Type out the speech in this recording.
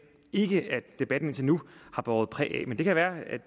ikke at debatten indtil nu har båret præg af men det kan være at